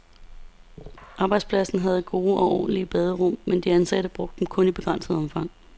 Arbejdspladsen havde gode og ordentlige baderum, men de ansatte brugte dem kun i begrænset omfang.